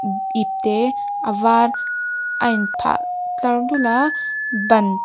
ipte a var a in phah tear dul a ban--